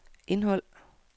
indhold